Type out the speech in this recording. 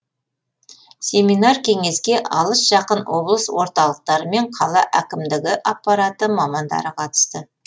семинар кеңеске алыс жақын облыс орталықтары мен қала әкімдігі аппараты мамандары қатысты